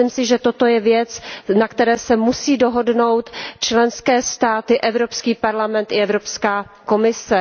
Myslím si, že toto je věc, na které se musí dohodnout členské státy, Evropský parlament i Evropská komise.